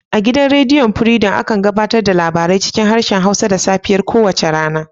A gidan rediyon furidom, akan gabatar da labarai cikin harshen Hausa da safiyar kowace rana.